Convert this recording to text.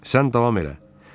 Sən davam elə.